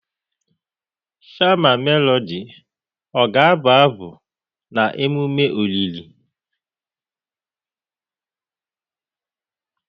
Shama Melodị ọ ga-abụ abụ na emume olili?